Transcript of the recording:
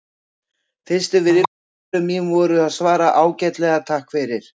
Fyrstu viðbrögð mín voru að svara bara: Ágætlega, takk fyrir